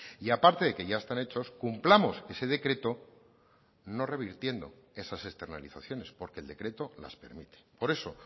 y aparte de que ya están hechos cumplamos ese decreto no revirtiendo esas externalizaciones porque el decreto las permite por eso